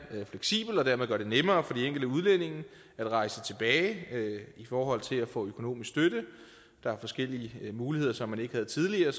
fleksibelt og dermed gøre det nemmere for de enkelte udlændinge at rejse tilbage i forhold til at få økonomisk støtte der er forskellige muligheder som man ikke havde tidligere